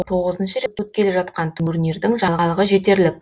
тоғызыншы рет өткелі жатқан турнирдің жаңалығы жетерлік